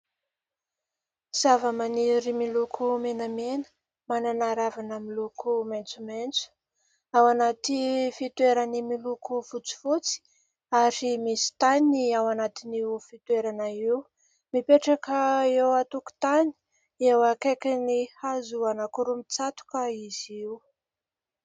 Zavamaniry miloko menamena. Manana ravina miloko maitsomaitso. Ao anaty fitoerany miloko fotsifotsy ary misy tany ao anatin'io fitoerana io. Mipetraka eo an-tokotany, eo akaikin'ny hazo anankiroa mitsatoka izy io.